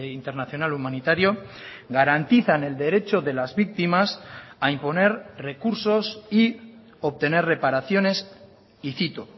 internacional humanitario garantizan el derecho de las víctimas a imponer recursos y obtener reparaciones y cito